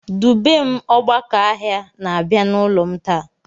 Dubem "Ogbákà ọhịa" na-abia n'ụlọ m taa